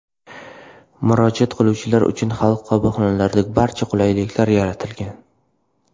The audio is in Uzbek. Murojaat qiluvchilar uchun Xalq qabulxonalarida barcha qulaylik yaratilgan.